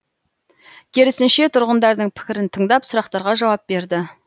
керісінше тұрғындардың пікірін тыңдап сұрақтарға жауап берді